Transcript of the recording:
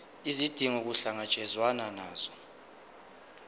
izidingo kuhlangatshezwane nazo